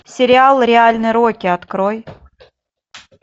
сериал реальный рокки открой